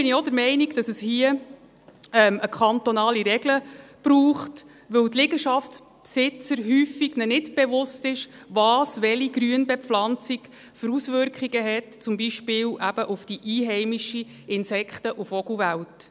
Deshalb bin ich auch der Meinung, dass es hier eine kantonale Regel braucht, weil den Liegenschaftsbesitzern häufig nicht bewusst ist, welche Grünbepflanzungen welche Auswirkungen haben, zum Beispiel eben auf die einheimische Insekten- und Vogelwelt.